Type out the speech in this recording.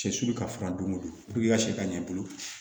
Sɛ sulu ka finan don o don ka sɛ ka ɲɛ i bolo